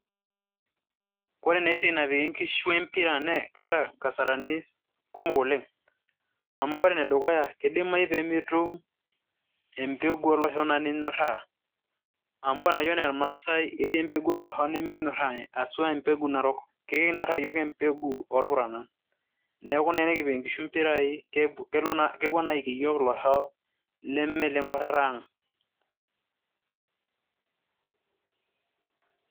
Kore na esiai napiki nkishu empira ne keeta nkasarani kumok oleng'. Amu kore enedukuya, kidimayu pemetum empeku oloshon na ninyorraa. Amu ore enayia ena irmaasai ketii empeku oloshon nimikinyorraa, asua empeku narok. Kekinyorraa yiok empeku orpurana. Neeku na enikip inkishu impirai, kepuo na aiki yiok ilosho lemeleng'uarrarra ang'.